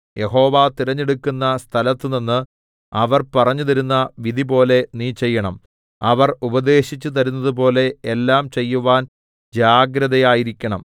യഹോവ തിരഞ്ഞെടുക്കുന്ന സ്ഥലത്തുനിന്ന് അവർ പറഞ്ഞുതരുന്ന വിധിപോലെ നീ ചെയ്യണം അവർ ഉപദേശിച്ചുതരുന്നതുപോലെ എല്ലാം ചെയ്യുവാൻ ജാഗ്രതയായിരിക്കേണം